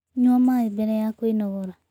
Nyua maĩ bere ya kwĩnogora